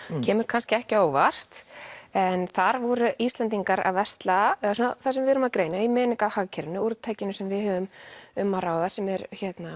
kemur kannski ekki á óvart en þar voru Íslendingar að versla eða það sem við erum að greina í hagkerfinu úrtakinu sem við höfum um að ráða sem er